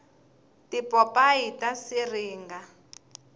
tipopayi ta siringa